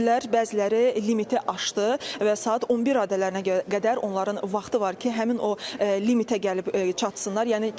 Bəziləri limiti aşdı və saat 11 radələrinə qədər onların vaxtı var ki, həmin o limitə gəlib çatsınlar.